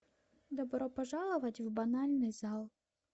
добро пожаловать в банальный зал